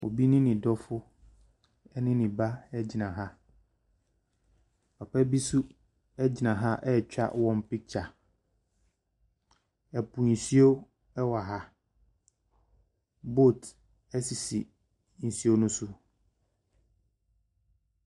Obi ne ne dɔfo ne ne ba gyina ha. Papa bi nso gyina ha retwa wɔn picture. Ɛpo nsuo wɔ ha. Boat sisi nsuo no so.